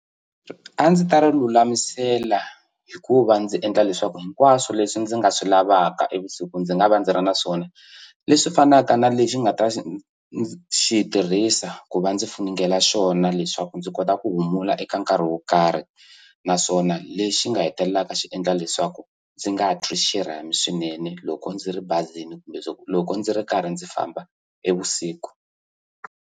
A ndzi ta ri lulamisela hi ku va ndzi endla leswaku hinkwaswo leswi ndzi nga swi lavaka e vusiku ndzi nga va ndzi ri na swona leswi fanaka na lexi nga ta xi xi tirhisa ku va ndzi funengela xona leswaku ndzi kota ku humula eka nkarhi wo karhi naswona lexi nga hetelelaka swi endla leswaku ndzi nga twi xirhami swinene loko ndzi ri bazini kumbe loko loko ndzi ri karhi ndzi famba e vusiku.